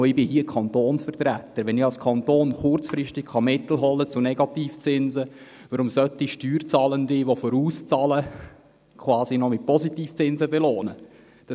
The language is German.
Wenn der Kanton kurzfristige Mittel zu Negativzinsen holen kann, sehe ich nicht ein, weshalb vorauszahlende Steuerzahler mit Positivzinsen belohnt werden sollen.